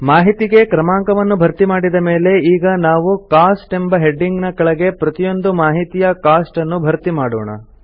ಮಾಹಿತಿಗೆ ಕ್ರಮಾಂಕವನ್ನು ಭರ್ತಿಮಾಡಿದ ಮೇಲೆ ಈಗ ನಾವು ಕೋಸ್ಟ್ ಎಂಬ ಹೆಡಿಂಗ್ ನ ಕೆಳಗೆ ಪ್ರತಿಯೊಂದು ಮಾಹಿತಿಯ ಕೋಸ್ಟ್ ಅನ್ನು ಭರ್ತಿ ಮಾಡೋಣ